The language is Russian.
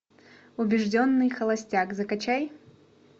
убежденный холостяк закачай